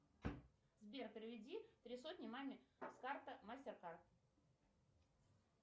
сбер переведи три сотни маме с карты мастер кард